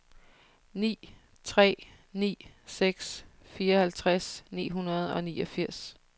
ni tre ni seks fireoghalvtreds ni hundrede og niogfirs